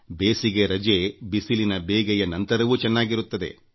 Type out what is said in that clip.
ಬೇಸಿಗೆ ರಜೆ ಬಿಸಿಲಿನ ಬೇಗೆಯ ನಡುವೆಯೂ ಆನಂದವಾಗಿರುತ್ತದೆ